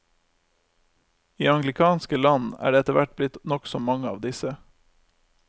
I anglikanske land er det etterhvert blitt nokså mange av disse.